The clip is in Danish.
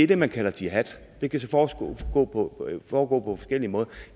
det man kalder jihad det kan så foregå på forskellige måder